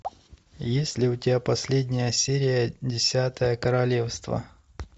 есть ли у тебя последняя серия десятое королевство